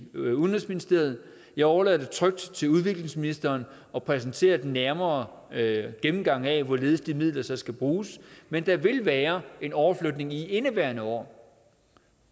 udenrigsministeriet jeg overlader det trygt til udviklingsministeren at præsentere den nærmere gennemgang af hvorledes de midler så skal bruges men der vil være en overflytning i indeværende år